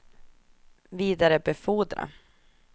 vidarebefordra